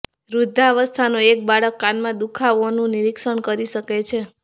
વૃદ્ધાવસ્થાનો એક બાળક કાનમાં દુખાવોનું નિરીક્ષણ કરી શકે છે